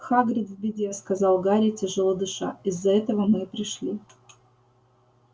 хагрид в беде сказал гарри тяжело дыша из-за этого мы и пришли